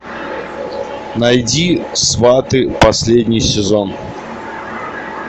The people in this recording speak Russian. найди сваты последний сезон